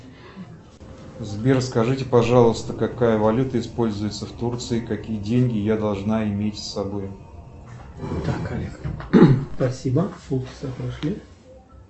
сбер скажите пожалуйста какая валюта используется в турции какие деньги я должна иметь с собой